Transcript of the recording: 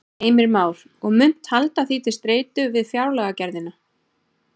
Heimir Már: Og munt halda því til streitu við fjárlagagerðina?